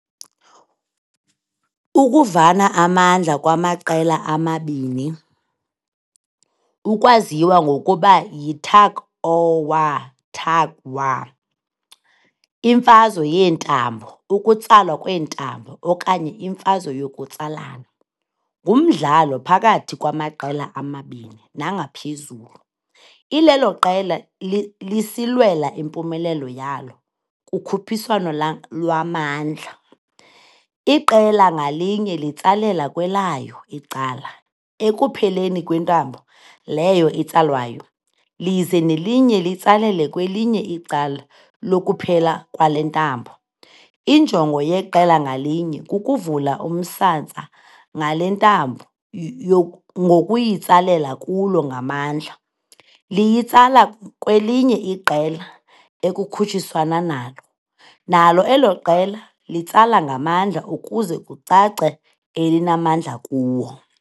Ukuvana amandla kwamaqela amabini, ukwaziwa ngokuba yitug o' war, tug war, imfazwe yentambo, ukutsalwa kwentambo, okanye imfazwe yokutsalana, ngumdlalo phakathi kwamaqela amabini nangaphezulu, ilelo iqela lisilwela impumelelo yalo kukhuphiswano lwamandla. Iqela ngalinye litsalela kwelayo icala ekupheleni kwentambo leyo itsalwayo, lize nelinye litsalele kwelinye icala lokuphela kwale ntambo, injongo yeqela ngalinye kukuvula umsantsa ngale ntambo ngokuyitsalela kulo ngamandla liyitsala kwelinye iqela ekukhutshiswana nalo nalo elo qela litsala ngamandla ukuze kucace elinamandla kuwo.